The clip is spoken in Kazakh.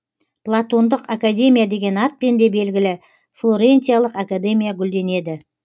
платондық академия деген атпен де белгілі флорентиялық академия гүлденеді